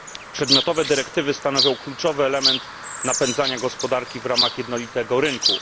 Przedmiotowe dyrektywy stanowią kluczowy element napędzania gospodarki w ramach jednolitego rynku.